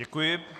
Děkuji.